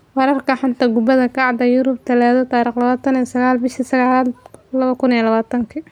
Wararka xanta kubada cagta Yurub Talaado 29.09.2020: Sancho, James, Aarons, Skriniar, Zouma